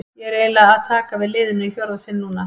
Ég er því eiginlega að taka við liðinu í fjórða sinn núna.